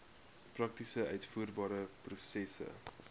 prakties uitvoerbare prosesse